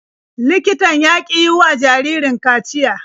Likitan ya ƙi yiwa jaririn kaciya.